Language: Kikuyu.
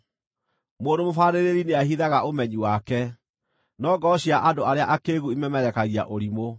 Mũndũ mũbaarĩrĩri nĩahithaga ũmenyi wake, no ngoro cia andũ arĩa akĩĩgu ĩmemerekagia ũrimũ.